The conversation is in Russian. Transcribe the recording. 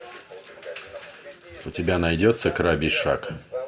у тебя найдется крабий шаг